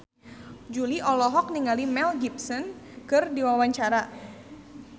Jui olohok ningali Mel Gibson keur diwawancara